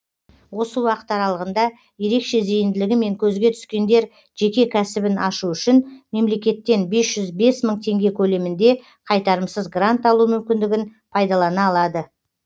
осы уақыт аралығында ерекше зейінділігімен көзге түскендер жеке кәсібін ашу үшін мемлекеттен бес жүз бес мың теңге көлемінде қайтарымсыз грант алу мүмкіндігін пайдалана алады